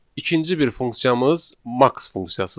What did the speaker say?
İkinci bir funksiyamız max funksiyasıdır.